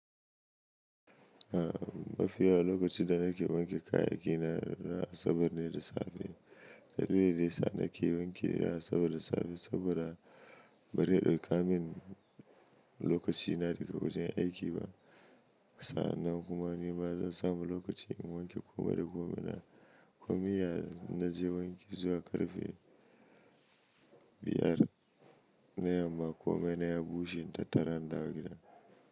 A mafiya lokacin da nake wanke kayayyaki na, na asabar ne da safe. Dalilin sa nake wanke a asabar da safe saboda bare dauka min lokaci na daga wajen aiki ba. Sa'an nan kuma ni ma zan sa mu lokaci in wanke komai da komai na. Komai na je wanki zuwa ƙarfe biyar na yamma komai na ya bushe ta tara na gida.